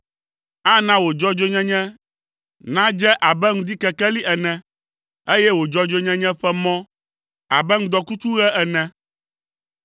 Ana wò dzɔdzɔenyenye nàdze abe ŋdikekeli ene, eye wò dzɔdzɔenyenye ƒe mɔ abe ŋdɔkutsuɣe ene.